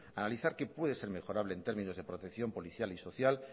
analizar qué puede ser mejorable en términos de protección policial y social